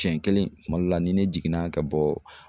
Siɲɛ kelen kuma dɔ la ni ne jiginna ka bɔ